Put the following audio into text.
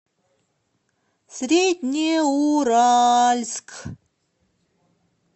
среднеуральск